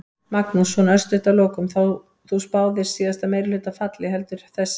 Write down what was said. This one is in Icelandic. Magnús: Svona örstutt að lokum, þú spáðir síðasta meirihluta falli, heldur þessi?